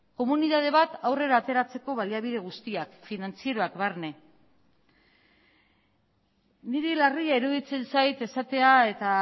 komunitate bat aurrera ateratzeko baliabide guztiak finantzieroak barne niri larria iruditzen zait esatea eta